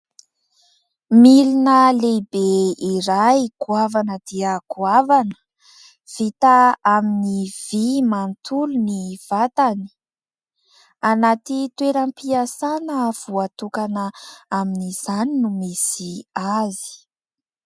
Milina lehibe iray goavana dia goavana, vita amin'ny vy manontolo ny vatany, anatina toeram-piasana voatokana amin'izany no misy azy.